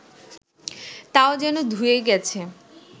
তাও যেন ধুয়ে গেছে